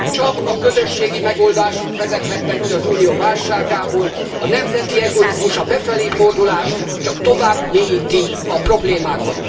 Csak a közösségi megoldások vezethetnek ki az Unió válságából, a nemzeti egoizmus, a befelé fordulás csak tovább mélyíti a problémákat.